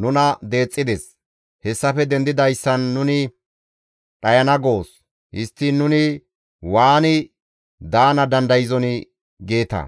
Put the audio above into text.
nuna deexxides; hessafe dendidayssan nuni dhayana goos; histtiin nuni waani daana dandayzonii?› geeta.